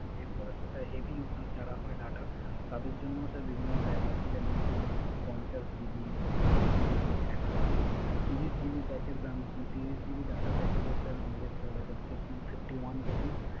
যেগুলো হচ্ছে Sir heavy user হয় Data তাদের জন্য বিভিন্ন Pack আছে যেমন পঞ্চাশ জিবি ত্রিশ জিবি একশত জিবি। ত্রিশ জিবি Data Packeg এর দাম আমদের স Sir পরে Fifty one rupi